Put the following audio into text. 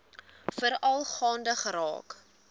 veral gaande geraak